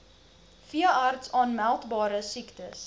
veeartse aanmeldbare siektes